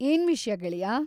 ಏನ್‌ ವಿಷ್ಯ ಗೆಳೆಯಾ?